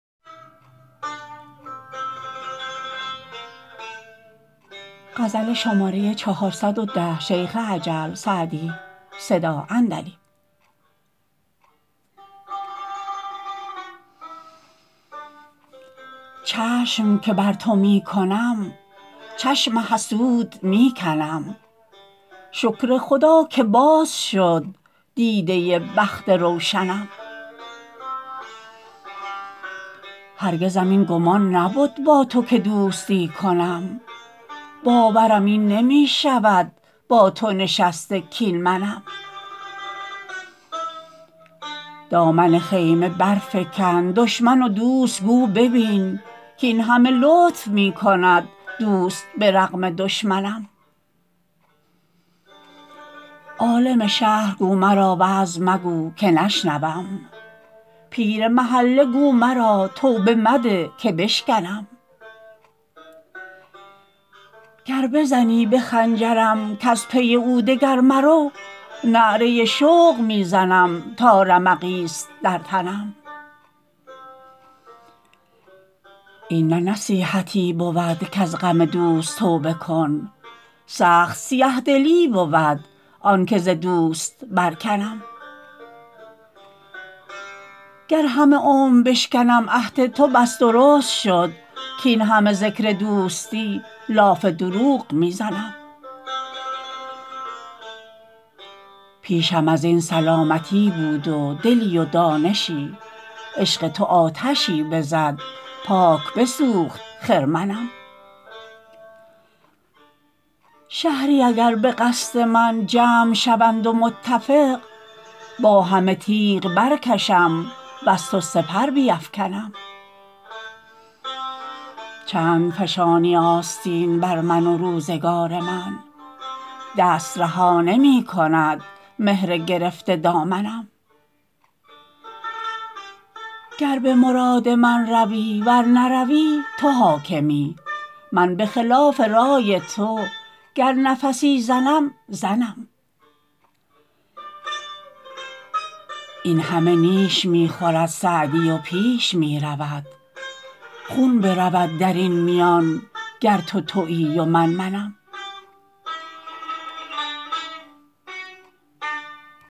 چشم که بر تو می کنم چشم حسود می کنم شکر خدا که باز شد دیده بخت روشنم هرگزم این گمان نبد با تو که دوستی کنم باورم این نمی شود با تو نشسته کاین منم دامن خیمه برفکن دشمن و دوست گو ببین کاین همه لطف می کند دوست به رغم دشمنم عالم شهر گو مرا وعظ مگو که نشنوم پیر محله گو مرا توبه مده که بشکنم گر بزنی به خنجرم کز پی او دگر مرو نعره شوق می زنم تا رمقی ست در تنم این نه نصیحتی بود کز غم دوست توبه کن سخت سیه دلی بود آن که ز دوست برکنم گر همه عمر بشکنم عهد تو پس درست شد کاین همه ذکر دوستی لاف دروغ می زنم پیشم از این سلامتی بود و دلی و دانشی عشق تو آتشی بزد پاک بسوخت خرمنم شهری اگر به قصد من جمع شوند و متفق با همه تیغ برکشم وز تو سپر بیفکنم چند فشانی آستین بر من و روزگار من دست رها نمی کند مهر گرفته دامنم گر به مراد من روی ور نروی تو حاکمی من به خلاف رای تو گر نفسی زنم زنم این همه نیش می خورد سعدی و پیش می رود خون برود در این میان گر تو تویی و من منم